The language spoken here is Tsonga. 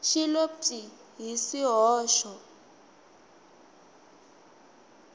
xi lo pyi hi swihoxo